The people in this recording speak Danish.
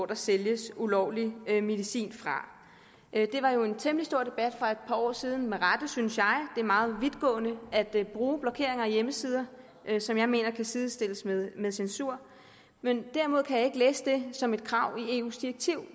der sælges ulovlig medicin det var jo en temmelig stor debat for et par år siden og med rette synes jeg det er meget vidtgående at bruge blokering af hjemmesider noget som jeg mener kan sidestilles med med censur derimod kan jeg ikke læse det som et krav i eus direktiv